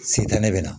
Sentanɛ bɛ na